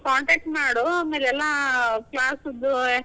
Contact ಮಾಡು, ಆಮೇಲ್ ಎಲ್ಲಾ class ದ್ದು.